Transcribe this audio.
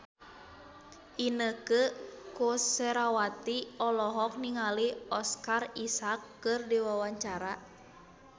Inneke Koesherawati olohok ningali Oscar Isaac keur diwawancara